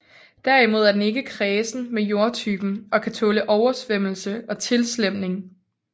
Derimod er den ikke kræsen med jordtypen og kan tåle oversvømmelse og tilslemning